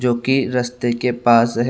जो कि रास्ते के पास है।